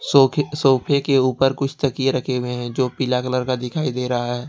सोफे के ऊपर कुछ ताकि रखे हुए हैं जो पीला कलर का दिखाई दे रहा है।